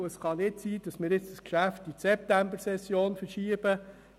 Es kann nicht sein, dass wir das Geschäft jetzt auf die Septembersession verschieben.